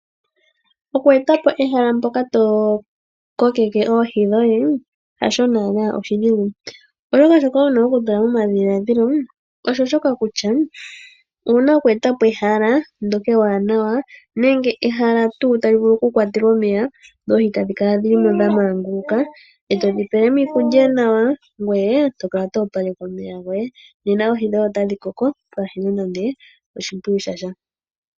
Oku eta po ehala mpoka tokokeke oohi dhoye hasho naana oshidhigu, oshoka shoka wuna okutula momadhiladhilo osho shoka kutya, owuna oku eta po ehala ndoka ewanawa nenge ehala tu tali vulu okukwatelwa omeya ndoohi tadhikala dhili mo dhamanguluka, eto dhipele mo iikulya nawa ngoye tokala to opaleke omeya goye, nena oohi dhoye otadhi koko pwaahena nande oshimpwiyu shatya.